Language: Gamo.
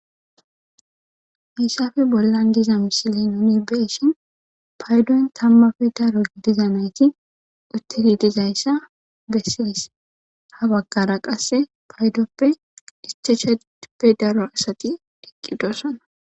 Missafe bollan diza misile nuni be'ishin paydon tammafe daro gidiza nayti uttidi dizayssa bessidis. Ha baggara qasse paydoppe dischachappe daro asati deqqidossana.